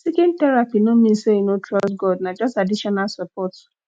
seeking therapy no mean say you no trust god na just additional support